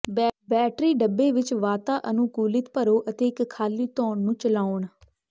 battery ਡੱਬੇ ਵਿਚ ਵਾਤਾਅਨੁਕੂਲਿਤ ਭਰੋ ਅਤੇ ਇੱਕ ਖਾਲੀ ਧੋਣ ਨੂੰ ਚਲਾਉਣ